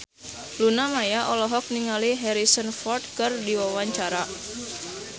Luna Maya olohok ningali Harrison Ford keur diwawancara